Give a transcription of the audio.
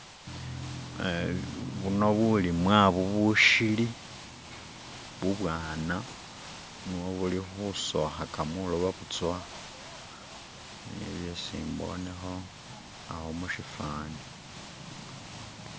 buno bulimwa bushili bubwana niyo buli husohaka mwiloba butsowa niyo byesi mboneho awo mushifani